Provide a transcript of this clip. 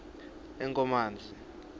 enkomazi